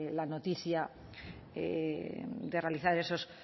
la noticia de realizar esos